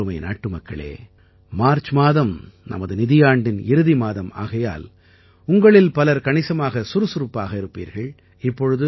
எனதருமை நாட்டுமக்களே மார்ச் மாதம் நமது நிதியாண்டின் இறுதி மாதம் ஆகையால் உங்களில் பலர் மிக சுறுசுறுப்பாக இருப்பீர்கள்